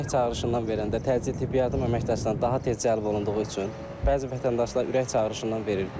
Ürək çağırışından verəndə təcili tibbi yardım əməkdaşları daha tez cəlb olunduğu üçün bəzi vətəndaşlar ürək çağırışından verir.